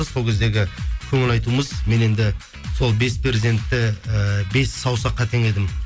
сол кездегі көңіл айтуымыз мен енді сол бес перзентті і бес саусаққа теңедім